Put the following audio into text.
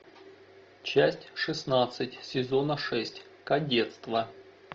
часть шестнадцать сезона шесть кадетство